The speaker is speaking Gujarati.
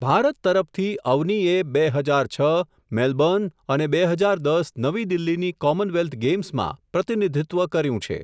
ભારત તરફથી અવનિએ, બે હજાર છ મેલબોર્ન અને બે હજાર દસ નવી દિલ્હીની કોમનવેલ્થ ગેમ્સમાં, પ્રતિનિધિત્વ કર્યું છે.